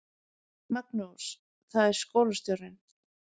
Magnús: Það er skólastjórinn.